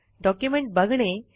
document बघणे